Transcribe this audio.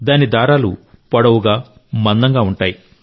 దాని దారాలు పొడవుగా మందంగా ఉంటాయి